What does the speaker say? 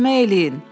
Kömək eləyin.